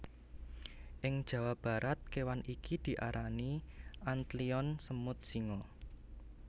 Ing Jawa Barat kewan iki diarani antlion semut singa